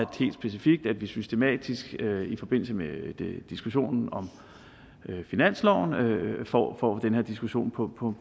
vi systematisk i forbindelse med diskussionen om finansloven får den her diskussion på på